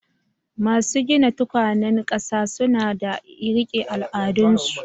Masu gina tukwanen kasa suna da rike al'adunsu